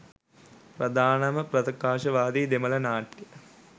ප්‍රධානම ප්‍රකාශනවාදී දමිළ නාට්‍ය